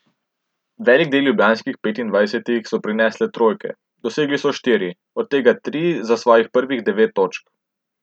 Velik del ljubljanskih petindvajsetih so prinesle trojke, dosegli so štiri, od tega tri za svojih prvih devet točk.